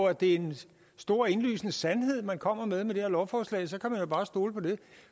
at det er en stor indlysende sandhed man kommer med med det her lovforslag så kan man jo bare stole på det